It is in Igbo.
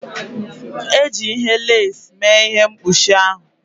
E ji ihe lasị mee ihe mkpuchi ahụ.